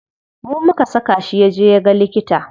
Mu muka saka shi yaje yaga likita.